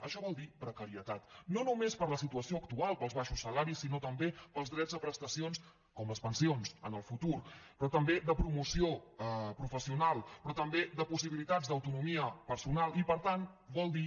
això vol dir precarietat no només per la situa ció actual pels baixos salaris sinó també pels drets a prestacions com les pensions en el futur però també de promoció professional però també de possibilitats d’autonomia personal i per tant vol dir